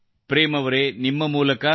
ಪ್ರೇಮ್ ಅವರೆ ನಿಮ್ಮ ಮೂಲಕ